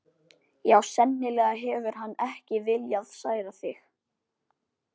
Já, sennilega hefur hann ekki viljað særa þig.